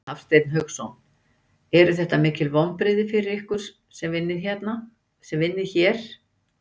Hafsteinn Hauksson: Eru þetta mikil vonbrigði fyrir ykkur sem vinnið hér?